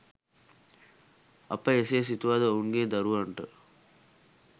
අප එසේ සිතුවද ඔවුන්ගේ දරුවන්ට